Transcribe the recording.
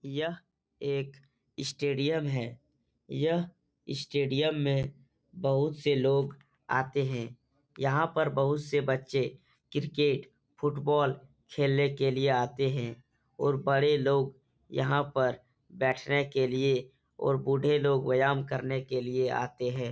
यह एक इस स्टेडियम है। यह इस स्टेडियम में बहुत से लोग आते है। यहाँ पर बहुत से बच्चे क्रिकेट फुटबॉल खेलने के लिए आते है। और बड़े लोग यहाँ पर बैठने के लिए और बूढ़े लोग व्यायाम करने के लिए आते है।